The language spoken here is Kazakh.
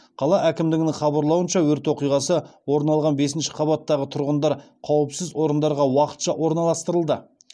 қала әкімдігінің хабарлауынша өрт оқиғасы орын алған бесінші қабаттағы тұрғындар қауіпсіз орындарға уақытша орналастырылды